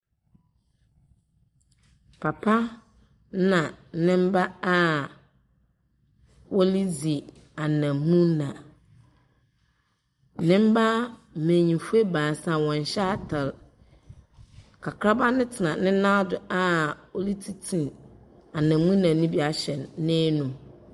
Papa ɛna ne mma a wɔn redzi anamuna. Ne mma mbanyinfo baasa wɔnhyɛ atar. Kakraba no tena ne nan do a wɔretete anamuna no bi ahyɛ n'anum.